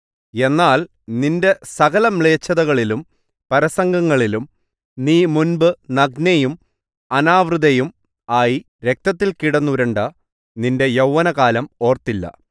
എന്നാൽ നിന്റെ സകലമ്ലേച്ഛതകളിലും പരസംഗങ്ങളിലും നീ മുമ്പ് നഗ്നയും അനാവൃതയും ആയി രക്തത്തിൽ കിടന്നുരുണ്ട നിന്റെ യൗവനകാലം ഓർത്തില്ല